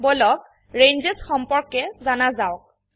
বলক ৰেঞ্জেছ সম্পৰ্কে জানা যাওক